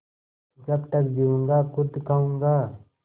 जब तक जीऊँगा खुद खाऊँगा